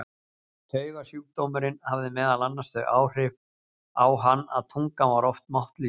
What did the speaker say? Taugasjúkdómurinn hafði meðal annars þau áhrif á hann að tungan var oft máttlítil.